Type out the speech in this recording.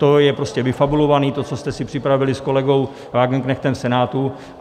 To je prostě vyfabulované, to, co jste si připravili s kolegou Wagenknechtem v Senátu.